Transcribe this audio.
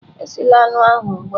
Esila anụ ahụ ugbu a!.